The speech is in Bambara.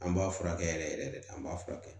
An b'a furakɛ yɛrɛ yɛrɛ de an b'a furakɛ